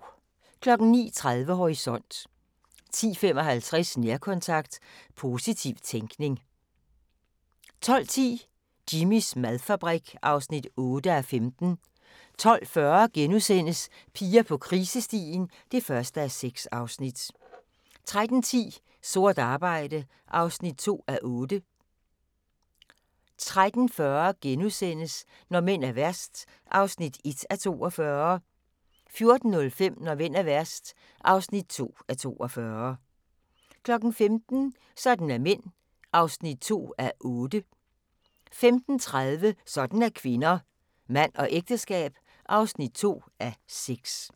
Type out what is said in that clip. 09:30: Horisont 10:55: Nærkontakt – positiv tænkning 11:25: Hairy Bikers store kokkedyst (Afs. 24) 12:10: Jimmys madfabrik (8:15) 12:40: Piger på krisestien (1:6)* 13:10: Sort arbejde (2:8) 13:40: Når mænd er værst (1:42)* 14:05: Når mænd er værst (2:42) 15:00: Sådan er mænd (2:8) 15:30: Sådan er kvinder - Mand og ægteskab (2:6)